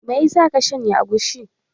Me ya sa ka shanya agushi?